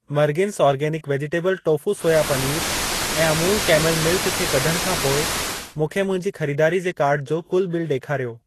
मर्गिंस organic vegetable tofu soya पनीरु ऐं Amul camel milk खे कढण खां पोइ मूंखे मुंहिंजी खरीदारी जे कार्ट जो कुल बिल ॾेखारियो।